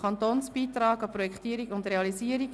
Kantonsbeitrag an die Projektierung und Realisierung».